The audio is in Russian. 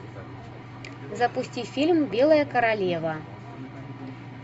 запусти фильм белая королева